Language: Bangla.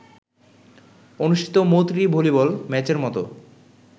অনুষ্ঠিত ‘মৈত্রী’ ভলিবল ম্যাচের মতো